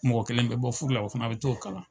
Mɔgɔ kelen be bɔ furu la, o fana be t'o kalan.